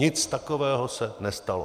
Nic takového se nestalo.